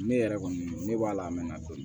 Ne yɛrɛ kɔni ne b'a la a mɛ na to